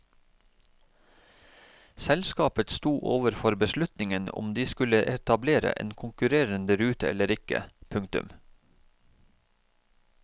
Selskapet sto overfor beslutningen om de skulle etablere en konkurrende rute eller ikke. punktum